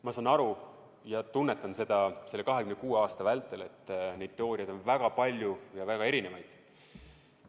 Ma saan aru, olen seda tunnetanud nende 26 aasta vältel, et neid teooriaid on väga palju ja väga erinevaid.